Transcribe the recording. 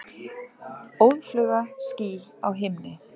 Óðfluga ský á himni.